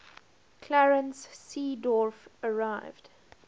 clarence seedorf arrived